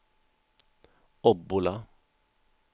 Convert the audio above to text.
Obbola